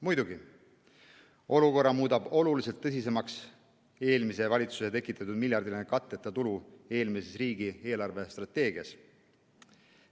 Muidugi, olukorra muudab oluliselt tõsisemaks eelmise valitsuse tekitatud miljardiline katteta tulu eelmises riigi eelarvestrateegias.